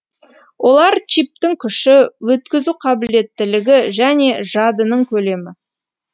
олар чиптің күші өткізу қабілеттілігі және жадының көлемі